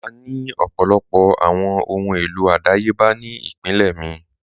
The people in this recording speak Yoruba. À ní ọ̀pọ̀lọpọ̀ awọn ọhun elo adáyèbà ni ìpínlẹ̀ mi.